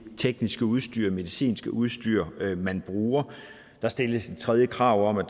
tekniske udstyr medicinske udstyr man bruger der stilles et tredje krav om at